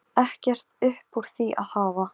Myndum vér fagna því af alhug, ef það gæti orðið.